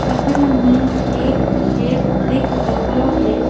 चित्र में एक खेत दिख रहे है।